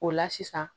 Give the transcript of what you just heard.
O la sisan